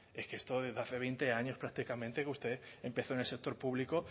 es que esto es desde hace veinte años prácticamente que usted empezó en el sector público